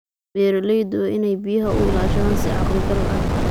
Beeraleydu waa in ay biyaha u ilaashadaan si caqli gal ah.